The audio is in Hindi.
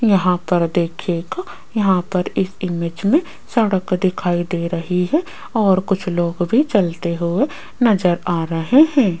यहां पर देखिएगा यहां पर इस इमेज में सड़क दिखाई दे रही है और कुछ लोग भी चलते हुए नजर आ रहे हैं।